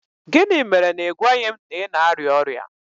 Gịnị mere na ị gwaghị m na ị na-arịa ọrịa?